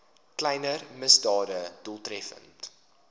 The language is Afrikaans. kleiner misdade doeltreffend